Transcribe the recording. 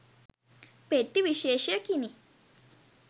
පෙට්ටි විශේෂයකිනි